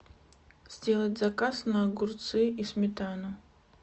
сделать заказ на огурцы и сметану